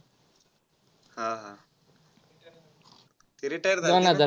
हा, हा. ते retire झाले ते ना?